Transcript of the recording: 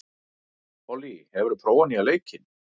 Pollý, hefur þú prófað nýja leikinn?